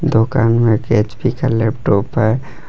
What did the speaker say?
दुकान में एक एच_पी का लैपटॉप है।